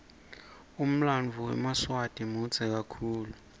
umlanduo wemaswati mudze kakhulu